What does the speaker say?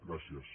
gràcies